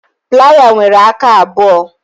Playa nwere aka abụọ